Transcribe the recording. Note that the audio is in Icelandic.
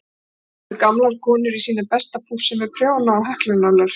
Þar sátu gamlar konur í sínu besta pússi með prjóna og heklunálar.